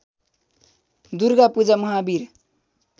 Durga Puja Mahavir